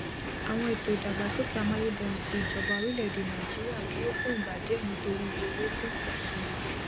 àwọn ètò ìdàgbàsókè àmàyédẹrùn tí ìjọba orílẹèdè nàìjíríà dúró fún ìgbà díẹ nitori iye owó tí ń pọ sí